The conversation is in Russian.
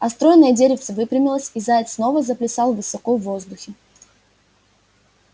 а стройное деревце выпрямилось и заяц снова заплясал высоко в воздухе